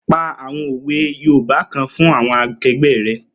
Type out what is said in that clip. Pa àwọn òwe yoòbá kan fún àwọn akẹgbẹ́ rẹ̀